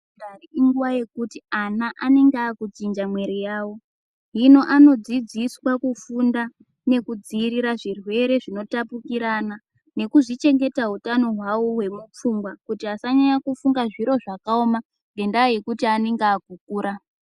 ...ndari inguva yekuti ana anenge aakuchinja muiri yavo. Hino anodzidziswa kufunda nekudziirira zvirwere zvinotapukirana nekuzvichengeta utano hwavo hwemupfungwa. Kuti asanyanya kufunga zviro zvakaoma ngendaa yekuti anenge aakukura.